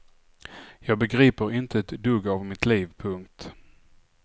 Jag begriper inte ett dugg av mitt liv. punkt